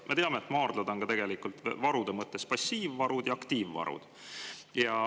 Me teame, et maardlates on varude mõttes passiivvarud ja aktiivvarud.